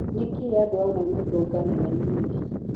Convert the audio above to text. Nĩkĩ andũ amwe matũnganaga na maya?